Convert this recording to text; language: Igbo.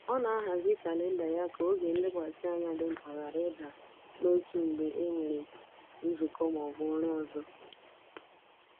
Ọ na-ahazi kalenda ya ka oge nlekwasị anya dị mkpa ghara ịda n’otu mgbe e nwere nzukọ ma ọ bụ ọrụ ọzọ.